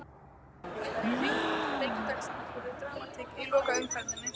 Sjá Einnig: England- Leikir dagsins: Verður dramatík í lokaumferðinni?